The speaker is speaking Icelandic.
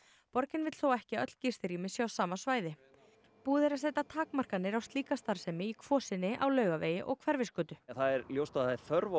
borgin vill þó ekki að öll gistirými séu á sama svæði búið er að setja takmarkanir á slíka starfsemi í Kvosinni á Laugavegi og Hverfisgötu það er ljóst að það er þörf á